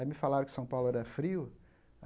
Aí me falaram que São Paulo era frio.